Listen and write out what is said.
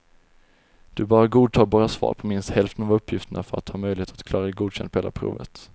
Du bör ha godtagbara svar på minst hälften av uppgifterna för att ha möjlighet att klara godkänd på hela provet.